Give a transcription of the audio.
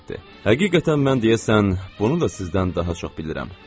Həqiqətən mən deyəsən, bunu da sizdən daha çox bilirəm,